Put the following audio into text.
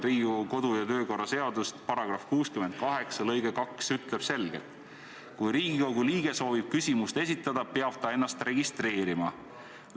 Mina loen Riigikogu kodu- ja töökorra seadust ning selle § 68 lõige 2 ütleb selgelt: "Kui Riigikogu liige soovib küsimust esitada, peab ta ennast registreerima.